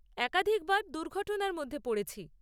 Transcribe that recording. একাধিকবার দুর্ঘটনার মধ্যে পড়েছি।